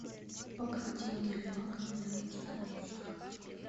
покрытие гель лаком для начинающих